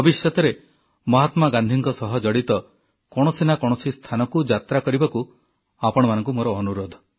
ଭବିଷ୍ୟତରେ ମହାତ୍ମା ଗାନ୍ଧୀଙ୍କ ସହ ଜଡ଼ିତ କୌଣସି ନା କୌଣସି ସ୍ଥାନକୁ ଯାତ୍ରା କରିବାକୁ ଆପଣମାନଙ୍କୁ ମୋର ଅନୁରୋଧ